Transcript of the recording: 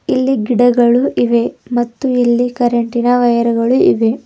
ಇಲ್ಲಿ ಗಿಡಗಳು ಇವೆ ಮತ್ತು ಇಲ್ಲಿ ಕರೆಂಟ್ ಇನ ವೈರುಗಳು ಇವೆ.